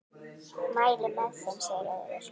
Mæli með þeim, segir Auður.